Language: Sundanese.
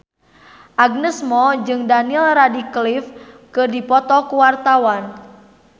Agnes Mo jeung Daniel Radcliffe keur dipoto ku wartawan